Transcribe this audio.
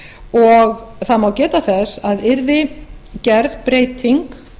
og það má geta þess að yrði gerð breyting